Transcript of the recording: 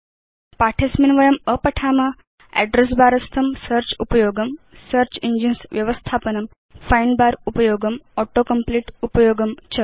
पाठे अस्मिन् वयम् अपठाम Address बर स्थं सेऽर्च उपयोगं सेऽर्च इंजिन्स् व्यवस्थापनं फाइण्ड बर उपयोगं auto कम्प्लीट उपयोगं च